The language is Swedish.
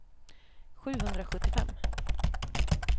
sjuhundrasjuttiofem